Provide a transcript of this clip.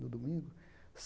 No domingo.